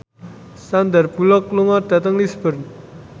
Sandar Bullock lunga dhateng Lisburn